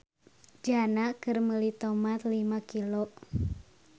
Jana keur meuli tomat lima kg